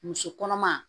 Muso kɔnɔma